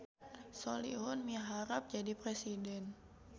Solihun miharep jadi presiden